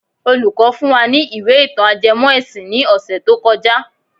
Olùkọ́ fún wa ní ìwé ìtàn ajẹmọ́ ẹ̀sìn ní ọ̀sẹ̀ tó kọjá.